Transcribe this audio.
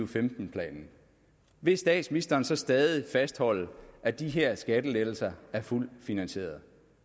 femten planen vil statsministeren så stadig fastholde at de her skattelettelser er fuldt finansierede